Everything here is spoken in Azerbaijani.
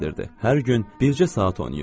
Hər gün bircə saat oynayırdı.